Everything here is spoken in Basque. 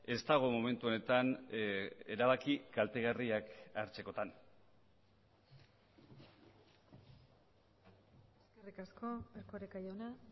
ez dago momentu honetan erabaki kaltegarriak hartzekotan eskerrik asko erkoreka jauna